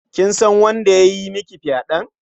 Kin san wanda ya yi miki fyaɗen?